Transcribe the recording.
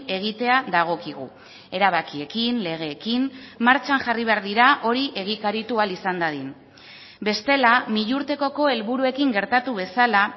egitea dagokigu erabakiekin legeekin martxan jarri behar dira hori egikaritu ahal izan dadin bestela milurtekoko helburuekin gertatu bezala